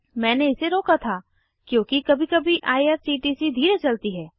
मैंने इसे रोका था क्योंकि कभी कभी आईआरसीटीसी धीरे चलती है